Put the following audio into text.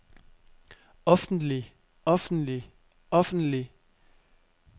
offentlig offentlig offentlig